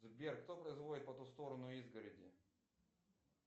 сбер кто производит по ту сторону изгороди